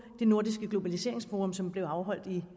i nordisk globaliseringsforum som blev afholdt i